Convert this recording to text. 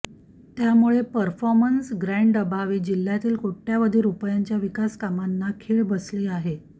त्यामुळे परफॉर्मन्स ग्रँडअभावी जिल्ह्यातील कोट्यवधी रुपयांच्या विकासकामांना खिळ बसली आहे